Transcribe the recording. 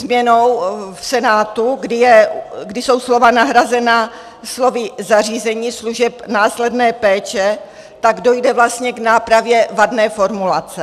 Změnou v Senátu, kdy jsou slova nahrazena slovy "zařízení služeb následné péče", tak dojde vlastně k nápravě vadné formulace.